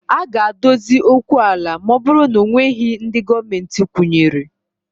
A ga-adozi okwu ala ma ọ bụrụ na ọ nweghị ndị Gọọmentị kwụnyere